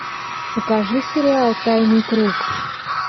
покажи сериал тайный круг